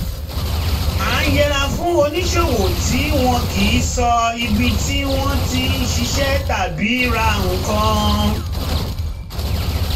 a ń yẹra fún oníṣòwò tí wọn kì í sọ um ibi tí wọ́n ń ṣiṣẹ́ tàbí ra nǹkan